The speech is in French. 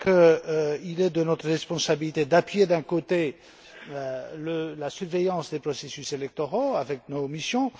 Je crois qu'il est de notre responsabilité d'appuyer, d'un côté, la surveillance des processus électoraux, avec nos missions.